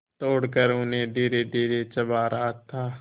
तोड़कर उन्हें धीरेधीरे चबा रहा था